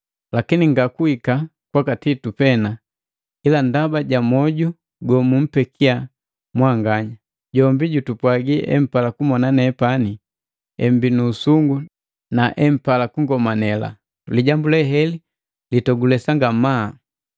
lakini ngakuhika kwaka Titu pena, ila ndaba ja moju gomumpekiya mwanganya. Jombi jutupwagi empala kumona nepani, emmbii nu usungu, na empala kungomanela. Lijambu leheli litogulesa ngamaa.